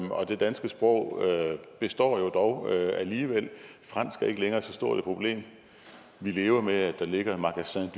danske sprog består alligevel fransk er ikke længere så stort et problem vi lever med at der ligger